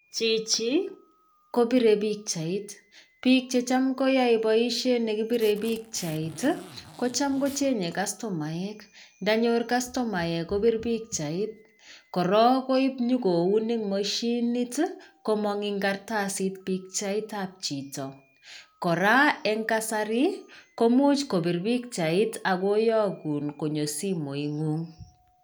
Chichi kobirei pikchait biik che cham koyae boishet ne kibirei pikchait kochamkochenyei kastomek ndanyor kastomaek kopir pikchait. Korok koib nyi koun eng mashinit i komang' eng kartasit pichaitab chito. Kora eng kasari komuch kopir pikchait ak koyogun konyo simoit ng'ung'.